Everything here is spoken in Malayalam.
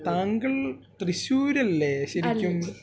താങ്കൾ തൃശ്ശൂർ അല്ലേ ശരിക്കും